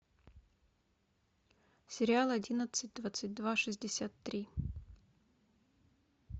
сериал одиннадцать двадцать два шестьдесят три